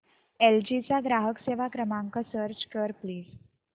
L G चा ग्राहक सेवा क्रमांक सर्च कर प्लीज